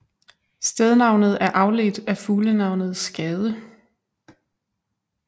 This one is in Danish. Stednavnet er afledt af fuglenavnet skade